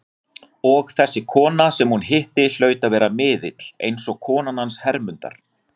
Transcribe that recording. Og þessi kona sem hún hitti hlaut að vera miðill, eins og konan hans Hermundar.